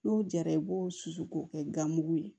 N'o jara i b'o susu k'o kɛ ganmugu ye